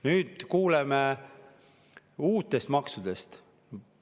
Nüüd kuuleme uutest maksudest.